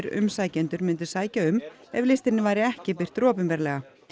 umsækjendur myndu sækja um ef listinn væri ekki birtur opinberlega